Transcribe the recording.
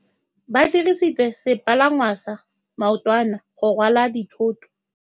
Ba dirisitse sepalangwasa maotwana go rwala dithôtô.